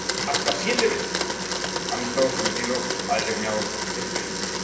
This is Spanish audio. Hasta siete veces han estado sometidos a determinados expedientes.